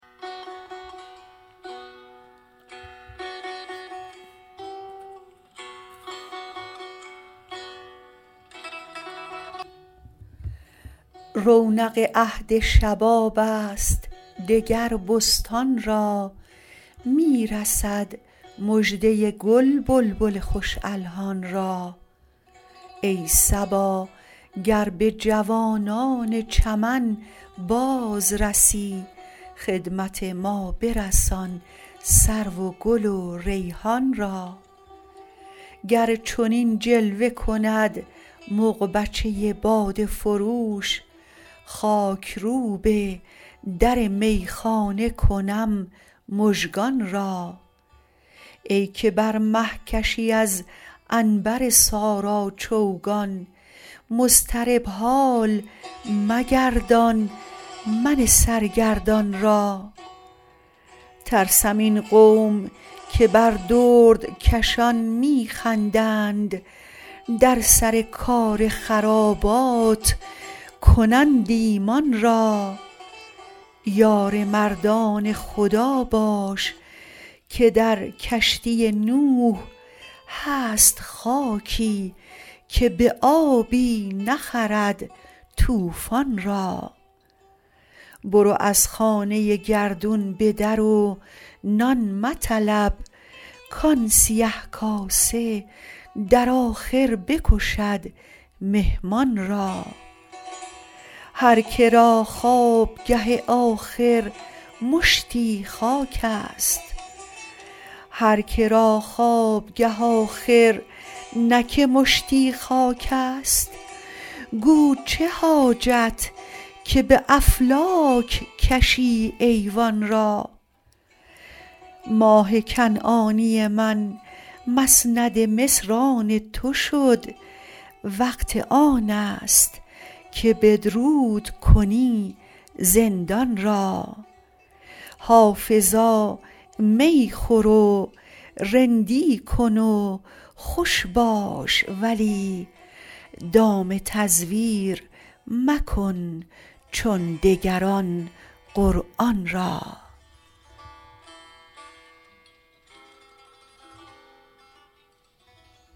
رونق عهد شباب است دگر بستان را می رسد مژده گل بلبل خوش الحان را ای صبا گر به جوانان چمن باز رسی خدمت ما برسان سرو و گل و ریحان را گر چنین جلوه کند مغبچه باده فروش خاک روب در میخانه کنم مژگان را ای که بر مه کشی از عنبر سارا چوگان مضطرب حال مگردان من سرگردان را ترسم این قوم که بر دردکشان می خندند در سر کار خرابات کنند ایمان را یار مردان خدا باش که در کشتی نوح هست خاکی که به آبی نخرد طوفان را برو از خانه گردون به در و نان مطلب کآن سیه کاسه در آخر بکشد مهمان را هر که را خوابگه آخر مشتی خاک است گو چه حاجت که به افلاک کشی ایوان را ماه کنعانی من مسند مصر آن تو شد وقت آن است که بدرود کنی زندان را حافظا می خور و رندی کن و خوش باش ولی دام تزویر مکن چون دگران قرآن را